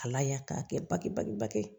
Ala y'a k'a kɛ bake bagi bage ye